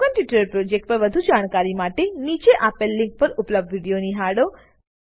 spoken tutorial project પર વધુ જાણકારી માટે નીચે આપેલ લીંક પર ઉપલબ્ધ વિડીઓ નિહાળો